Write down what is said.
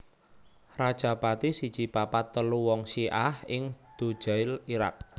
Rajapati siji papat telu wong Syi ah ing Dujail Irak